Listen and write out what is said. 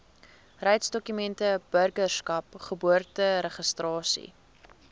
reisdokumente burgerskap geboorteregistrasie